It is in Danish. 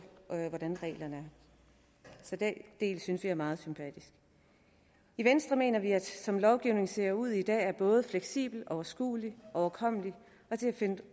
hvordan reglerne er så den del synes vi er meget sympatisk i venstre mener vi at som lovgivningen ser ud i dag er både fleksibel overskuelig overkommelig og til at finde